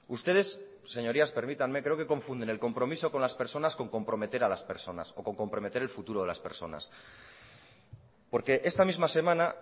ustedes señorías permítanme creo que confunden el compromiso con las personas con comprometer a las personas o con comprometer el futuro de las personas porque esta misma semana